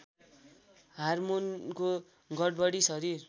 हारमोनको गडबडी शरीर